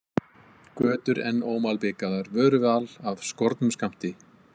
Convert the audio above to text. Götur enn ómalbikaðar, vöruval af skornum skammti.